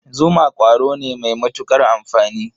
Zuma ƙwaro ne mai matuƙar amfani.